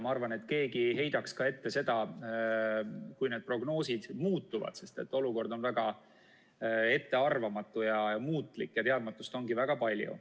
Ma arvan, et keegi ei heidaks ette ka seda, kui need prognoosid muutuvad, sest olukord on väga ettearvamatu ja muutlik ning teadmatust ongi väga palju.